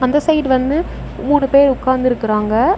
அந்த சைடு வந்து மூணு பேர் உக்காந்துருக்குறாங்க.